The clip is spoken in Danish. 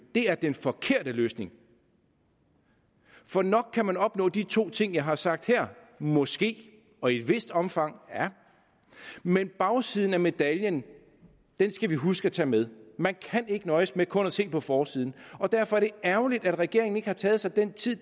er den forkerte løsning for nok kan man opnå de to ting jeg har sagt her måske og i et vist omfang ja men bagsiden af medaljen skal vi huske at tage med man kan ikke nøjes med kun at se på forsiden derfor er det ærgerligt at regeringen ikke har taget sig den tid